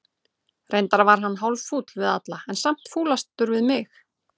Reyndar var hann hálffúll við alla, en samt fúlastur við mig.